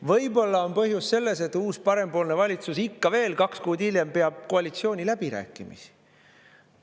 Võib-olla on põhjus selles, et uus parempoolne valitsus ikka veel kaks kuud hiljem peab koalitsiooniläbirääkimisi.